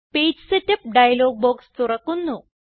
page setup dialog box തുറക്കുന്നു